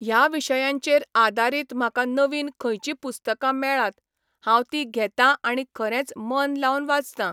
ह्या विशयांचेर आदारीत म्हाका नवीन खंयचीं पुस्तकां मेळात, हांव तीं घेतां आणी खरेंच मन लावन वाचतां.